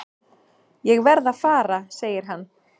Ég verð að fara segir hann.